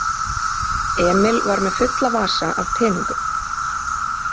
Emil var með fulla vasa af peningum.